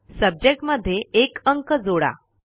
subject मध्ये 1 अंक जोडा